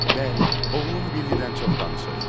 Bəli, oğlum Billidən çox danışır.